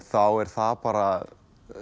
þá er það bara